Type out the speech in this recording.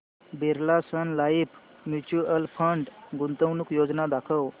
Birla sun life mutual fund गुंतवणूक योजना दाखव